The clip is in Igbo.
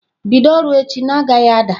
Bido ọrụ echi na-agaghị ada!